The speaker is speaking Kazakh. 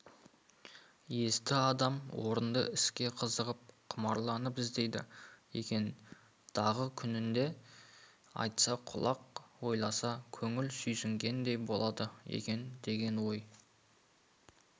есті адам орынды іске қызығып құмарланып іздейді екен-дағы күнінде айтса құлақ ойласа көңіл сүйсінгендей болады екен деген ой